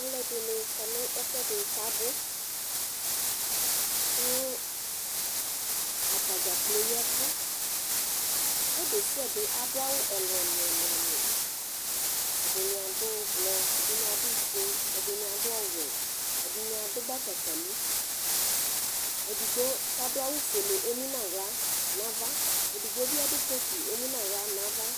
Alʋ ɛdini kɔ nʋ ɛfʋɛdi kʋ abʋ kʋ atadza klpoo ya ɛvʋ ɔlʋ desiade adʋ awʋ ɛlʋ ɛlʋ ɛlʋ ɛdini adʋ ʋblɔ ɛdini adʋ ofue ɛdini adʋ ɔwɛ ɛdini adʋ batakali edigbo kʋ adʋ awʋ fuele emʋnʋ aɣla nʋ ava edigbo bi adʋ kotʋ kʋ emʋnʋ aɣla nʋ ava